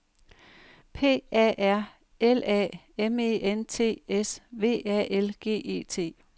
P A R L A M E N T S V A L G E T